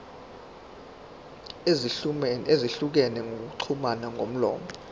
ezahlukene zokuxhumana ngomlomo